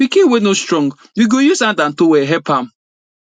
pikin wey no strong we go use hand and towel help am